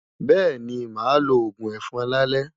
Bẹ́ẹ̀ni, màá lo òògùn ẹ̀fọn lálẹ́.